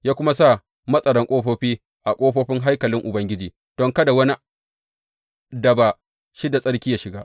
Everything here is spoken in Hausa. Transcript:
Ya kuma sa matsaran ƙofofi a ƙofofin haikalin Ubangiji don kada wani da ba shi da tsarki yă shiga.